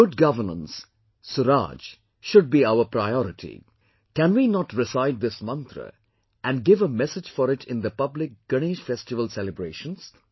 Good governance, SURAAJ, should be our priority; can we not recite this mantra and give a message for it in the public Ganesh festival celebrations